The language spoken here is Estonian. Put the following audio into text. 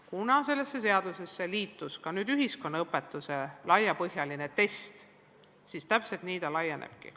Kuna sellesse eelnõusse sai sisse ka ühiskonnaõpetuse laiapõhjaline test, siis nii ta laienebki.